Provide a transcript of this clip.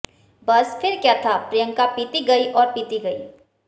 बस फिर क्या था प्रियंका पीती गईं और पीती गईं